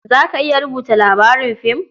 Za ka iya rubuta labarin fim?